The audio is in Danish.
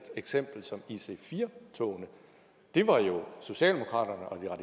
eksempel som ic4 togene det var jo socialdemokratiet og